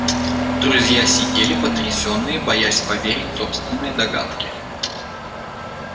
друзья сидели потрясённые боясь поверить собственной догадке